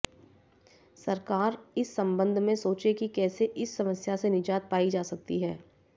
सरकार इस संबंध में सोचे कि कैसे इस समस्या से निजात पाई जा सकती है